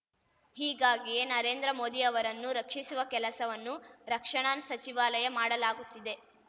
ಹೀಗಾಗಿಯೇ ನರೇಂದ್ರ ಮೋದಿ ಅವರನ್ನು ರಕ್ಷಿಸುವ ಕೆಲಸವನ್ನು ರಕ್ಷಣಾ ಸಚಿವಾಲಯ ಮಾಡಲಾಗುತ್ತಿದೆ